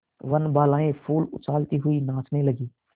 वनबालाएँ फूल उछालती हुई नाचने लगी